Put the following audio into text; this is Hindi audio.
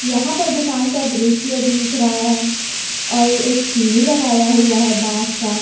यहां पर दुकान का दृश्य दिख रहा है और एक सीढ़ी लगाया हुआ है बास का।